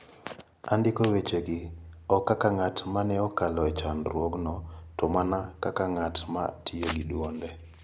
Andiko wechegi ok kaka ng'at ma ne okalo e chandruogno to mana kaka ng'at ma tiyo gi duonde.